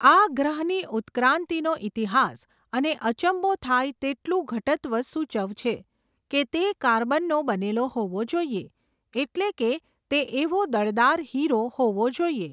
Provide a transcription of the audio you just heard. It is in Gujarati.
આ ગ્રહની ઉત્ક્રાંતિનો ઇતિહાસ, અને અચંબો થાય તેટલું ઘટત્વ સૂચવ છે, કે તે કાર્બનનો બનેલો હોવો જોઈયે, એટલે કે તે એવો દળદાર હિરો હોવો જોઈએ.